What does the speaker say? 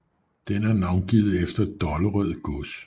Den er navngivet efter Dollerød gods